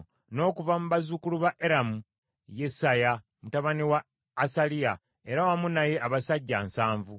n’okuva mu bazzukulu ba Eramu, Yesaya mutabani wa Asaliya, era wamu naye abasajja nsanvu (70);